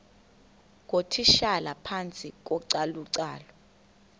ngootitshala phantsi kocalucalulo